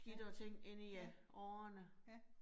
Ja, ja, ja